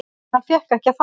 Hann fékk ekki að fara.